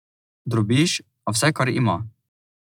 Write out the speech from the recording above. Drobiž, a vse, kar ima.